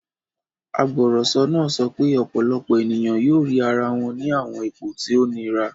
Agbọrọsọ naa sọ pe ọpọlọpọ eniyan yoo rii ara wọn ni awọn ipo ti o nira